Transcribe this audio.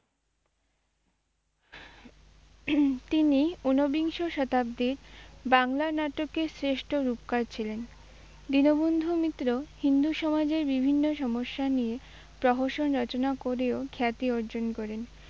তিনি উনবিংশ শতাব্দীর বাংলা নাটকের শ্রেষ্ঠ রূপকার ছিলেন, দীনবন্ধু মিত্র হিন্দু সমাজের বিভিন্ন সমস্যা নিয়ে প্রহসন রচনা করেও খ্যাতি অর্জন করেন।